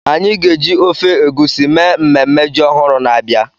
Anyị ga-eji ofe egusi mee ememme ji ọhụrụ na-abịa.